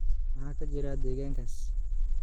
maxaa ka jira deegaankaas